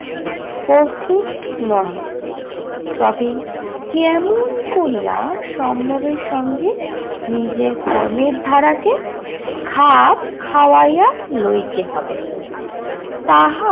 প্রস্তুত নহে। তবে কেমন করিয়া সম্ভবের সঙ্গে নিজের কর্মের ধারাকে খাপ খাওয়াইয়া লইতে হবে- তাহা